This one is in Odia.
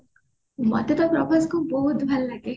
ମତେ ତ ପ୍ରଭାସ୍ କୁ ବହୁତ ଭଲ ଲାଗେ